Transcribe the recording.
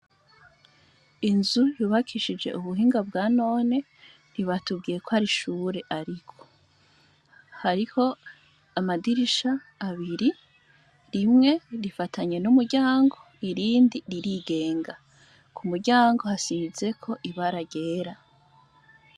Inzu yubakishije ubuhinga bwa none ntibatubwiye ko arishure, ariko hariho amadirisha abiri rimwe rifatanye n'umuryango irindi ririgenga ku muryango hasizeko ibara gera.